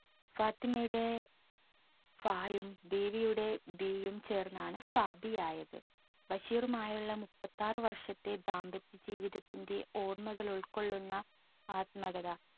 ഫാത്തിമയുടെ ഫായും ബീവിയുടെ ബീയും ചേർന്നാണ് ഫാബിയായത് ബഷീറുമായുള്ള മുപ്പത്തിയാറ് വർഷത്തെ ദാമ്പത്യ ജീവിതത്തിന്റെ ഓർമ്മകൾ ഉൾകൊള്ളുന്ന ആത്മകഥ